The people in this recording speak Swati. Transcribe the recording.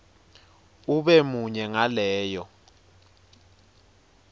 ube munye ngaleyo